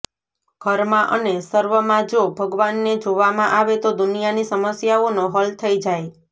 ઘરમાં અને સર્વમાં જો ભગવાનને જોવામાં આવે તો દુનિયાની સમસ્યાઓનો હલ થઇ જાય